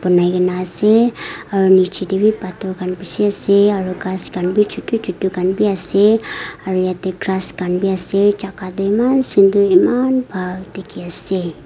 bonai ke na ase aru nicche teh be pathor khan bishi ase aru grass khan be chotu chotu khan be ase aru yate grass khan be ase jaga teh eman sundar eman bhal dikhe ase.